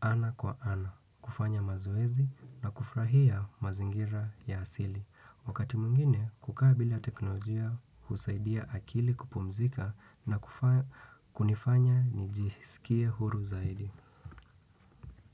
ana kwa ana, kufanya mazoezi na kufurahia mazingira ya asili. Wakati mwngine, kukaa bila teknolojia husaidia akili kupumzika na kunifanya nijisikie huru zaidi.